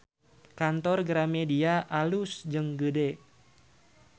Kantor Gramedia alus jeung gede